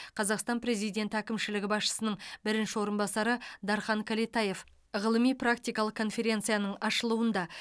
қазақстан президенті әкімшілігі басшысының бірінші орынбасары дархан кәлетаев ғылыми практикалық конференцияның ашылуында